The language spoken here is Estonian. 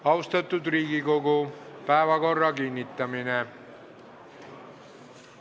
Austatud Riigikogu, päevakorra kinnitamine.